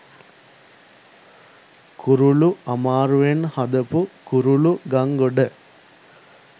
කුරුලු අමාරුවෙන් හදපු කුරුලුගංගොඩ